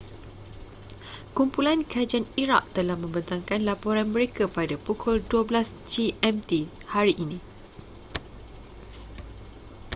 kumpulan kajian iraq telah membentangkan laporan mereka pada pukul 12.00 gmt hari ini